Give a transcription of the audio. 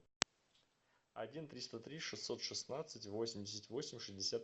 один триста три шестьсот шестнадцать восемьдесят восемь шестьдесят